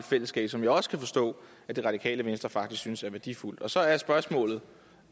fællesskab som jeg også kan forstå at radikale venstre faktisk synes er værdifuldt så er spørgsmålet